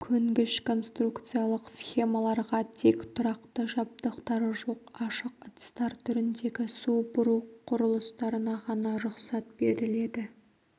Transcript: көнгіш конструкциялық схемаларға тек тұрақты жабдықтары жоқ ашық ыдыстар түріндегі су бұру құрылыстарына ғана рұқсат беріледі